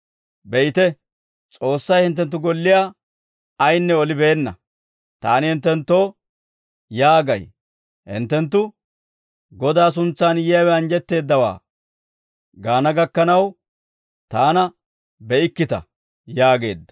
Be'ite; S'oossay hinttenttu golliyaa ayinne olibeenna; taani hinttenttoo yaagay; hinttenttu, ‹Godaa suntsaan yiyaawe anjjetteeddawaa› gaana gakkanaw, taana be'ikkita» yaageedda.